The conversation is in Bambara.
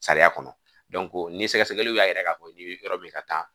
Sariya kɔnɔ dɔnko ni sɛgɛsɛgɛliw y'a yira k'a fɔ k'e be yɔrɔ yɔrɔ be ka taa